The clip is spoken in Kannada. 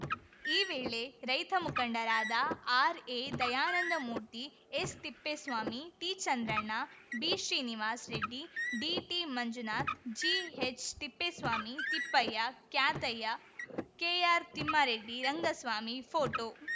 ಈ ವೇಳೆ ರೈತ ಮುಖಂಡರಾದ ಆರ್‌ಎದಯಾನಂದಮೂರ್ತಿ ಎಸ್‌ತಿಪ್ಪೇಸ್ವಾಮಿ ಟಿಚಂದ್ರಣ್ಣ ಬಿಶ್ರೀನಿವಾಸ್‌ರೆಡ್ಡಿ ಡಿಟಿಮಂಜುನಾಥ್ ಜಿಎಚ್‌ತಿಪ್ಪೇಸ್ವಾಮಿ ತಿಪ್ಪಯ್ಯ ಕ್ಯಾತಯ್ಯ ಕೆಆರ್‌ತಿಮ್ಮಾರೆಡ್ಡಿ ರಂಗಸ್ವಾಮಿ ಪೋಟೋ